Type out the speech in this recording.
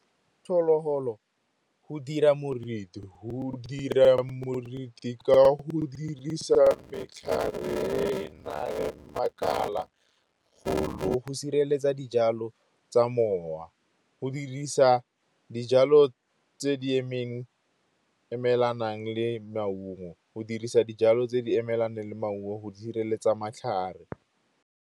Phologolo go dira moruti ka go dirisa metlhare e nang le makala go sireletsa dijalo tsa mowa. Go dirisa dijalo tse di emelanang le maungo go sireletsa matlhare.